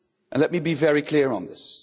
Let me be very clear on this.